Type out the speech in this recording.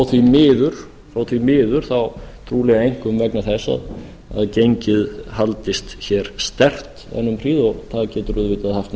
því miður trúlega einkum vegna þess að gengið haldist hér sterkt enn um hríð og það getur auðvitað haft